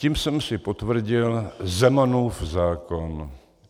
Tím jsem si potvrdil Zemanův zákon.